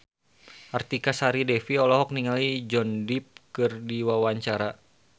Artika Sari Devi olohok ningali Johnny Depp keur diwawancara